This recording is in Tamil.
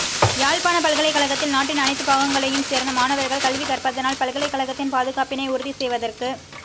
யாழ்ப்பாணப் பல்கலைக்கழகத்தில் நாட்டின் அனைத்து பாகங்களையும் சேர்ந்த மாணவர்கள் கல்வி கற்பதனால் பல்கலைக்கழகத்தின் பாதுகாப்பினை உறுதி செய்வதற்கு